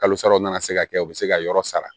Kalosaraw nana se ka kɛ u be se ka yɔrɔ sara